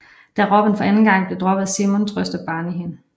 Da Robin for anden gang bliver droppet af Simon trøster Barney hende